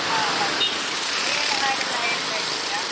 ಆ ಹೌದು. ನೀವ್ ಎಲ್ಲಾ ಹಾಡ್ ಎಲ್ಲಾ ಹೇಳ್ತಾ ಇರ್ತಿರಾ?